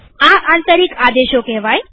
આ આંતરિક આદેશો કેહવાય